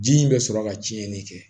Ji in bɛ sɔrɔ ka tiɲɛni kɛ